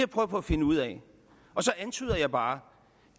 på at finde ud af og så antyder jeg bare